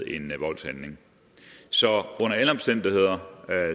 en voldshandling så under alle omstændigheder er